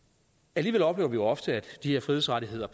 alligevel oplever vi ofte at de frihedsrettigheder